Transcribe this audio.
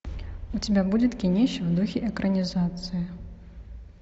у тебя будет кинище в духе экранизации